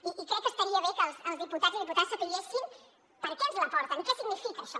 i crec que estaria bé que els diputats i diputades sabessin per què ens el porten i què significa això